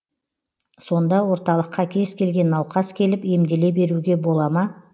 сонда орталыққа кез келген науқас келіп емделе беруге бола ма